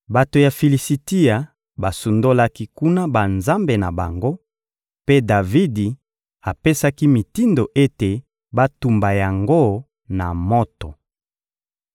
Bato ya Filisitia basundolaki kuna banzambe na bango, mpe Davidi apesaki mitindo ete batumba yango na moto.